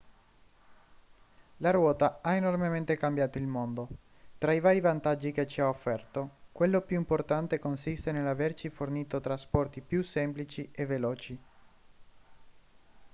la ruota ha enormemente cambiato il mondo tra i vari vantaggi che ci ha offerto quello più importante consiste nell'averci fornito trasporti più semplici e veloci